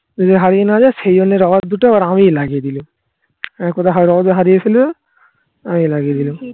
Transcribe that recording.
যদি হারিয়ে না যায় সেই জন্য rubber দুটো এবার আমি লাগিয়ে দিলাম আ কোথায় হায়দ্রাবাদে হারিয়েছিল. আমি লাগিয়ে দিলাম